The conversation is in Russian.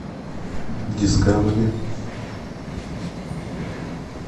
дискавери